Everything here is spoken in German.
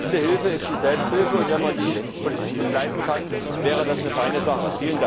Die beste Hilfe ist die Selbsthilfe, und wenn man die politisch begleiten kann, wäre das eine feine Sache.